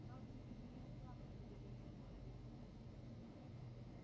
хагрид не имел права прибегать к магии